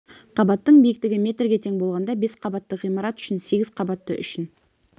қабаттың биіктігі метрге тең болғанда бес қабатты ғимарат үшін сегіз қабатты үшін